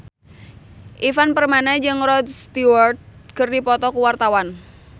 Ivan Permana jeung Rod Stewart keur dipoto ku wartawan